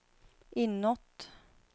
inåt